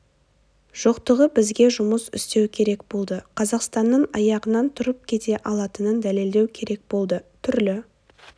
жоқтығы бізге жұмыс істеу керек болды қазақстанның аяғынан тұрып кете алатынын дәлелдеу керек болды түрлі